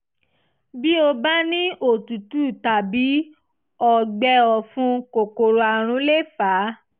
bí o bá bá ní òtútù tàbí ọgbẹ́ ọ̀fun kòkòrò àrùn léè fà á